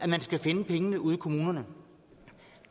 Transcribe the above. man skal finde pengene ude i kommunerne